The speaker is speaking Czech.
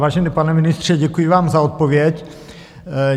Vážený pane ministře, děkuji vám za odpověď.